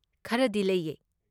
ꯈꯔꯗꯤ ꯂꯩꯌꯦ꯫